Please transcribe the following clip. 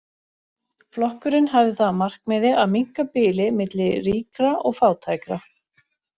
Flokkurinn hafði það að markmiði að minnka bilið milli ríkra og fátækra.